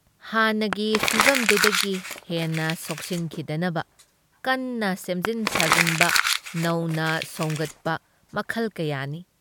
ꯍꯥꯟꯅꯒꯤ ꯐꯤꯚꯝꯗꯨꯗꯒꯤ ꯍꯦꯟꯅ ꯁꯣꯛꯆꯤꯟꯈꯤꯗꯅꯕ ꯀꯟꯅ ꯁꯦꯝꯖꯤꯟ-ꯁꯥꯖꯤꯟꯕ ꯅꯧꯅ ꯁꯣꯝꯒꯠꯄ ꯃꯈꯜ ꯀꯌꯥꯅꯤ ꯫